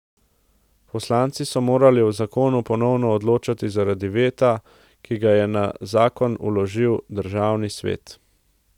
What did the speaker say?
Poslanci so morali o zakonu ponovno odločati zaradi veta, ki ga je na zakon vložil državni svet.